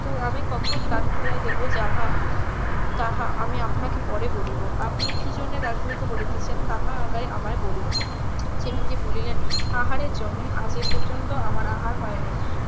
আমি তখন দ্বার খুলিয়া দেব যাহা তাহা আমি আপনাকে পরে বলিব আপনি কি জন্য দ্বার খুলিতে বলিতেছেন তাহা আগে আমায় বলুন চিরঞ্জিব বলিলেন আহারের জন্য আজ এপর্যন্ত আমার আহার হয় নাই